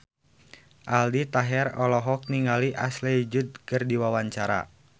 Aldi Taher olohok ningali Ashley Judd keur diwawancara